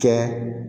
Kɛ